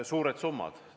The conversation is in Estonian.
Suured summad.